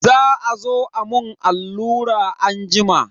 Za azo a mun allura anjima.